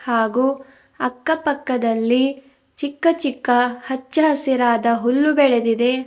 ಹಾಗೂ ಅಕ್ಕಪಕ್ಕದಲ್ಲಿ ಚಿಕ್ಕ ಚಿಕ್ಕ ಹಚ್ಚ ಹಸಿರಾದ ಹುಲ್ಲು ಬೆಳೆದಿದೆ.